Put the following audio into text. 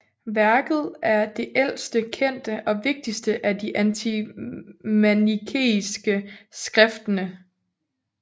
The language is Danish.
Værket er det ældste kendte og vigtigste af de antimanikeiske skriftene